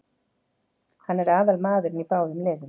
Hann er aðalmaðurinn í báðum liðum.